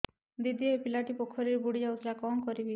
ଦିଦି ଏ ପିଲାଟି ପୋଖରୀରେ ବୁଡ଼ି ଯାଉଥିଲା କଣ କରିବି